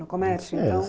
No comércio, então? É